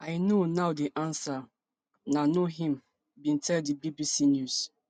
i know now di answer na no im bin tell di bbc news